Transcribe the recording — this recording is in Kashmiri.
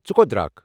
ژٕ کوٚت درٛاکھ؟